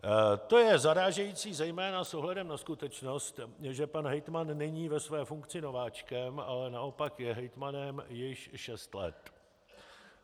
To je zarážející zejména s ohledem na skutečnost, že pan hejtman není ve své funkci nováčkem, ale naopak je hejtmanem již šest let.